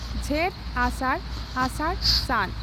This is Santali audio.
ᱡᱷᱮᱸᱴᱼᱟᱥᱟᱲ ᱟᱥᱟᱲᱼ ᱵᱹ ᱥᱟᱱ